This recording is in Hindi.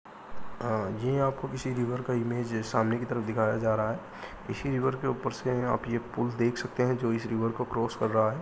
अं ये आपको किसी रिवर का इमेज सामने की तरफ दिखाया जा रहा है। इसी रिवर के ऊपर से आप ये पुल देख सकते हैं जो इस रिवर को क्रॉस कर रहा है।